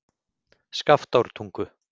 Skaftártungu